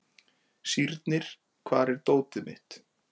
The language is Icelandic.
Sírnir, hvar er dótið mitt?